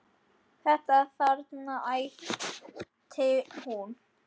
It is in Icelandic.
Þetta þarna, æpti hún.